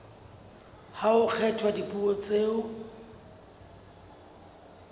ha ho kgethwa dipuo tseo